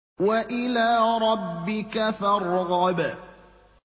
وَإِلَىٰ رَبِّكَ فَارْغَب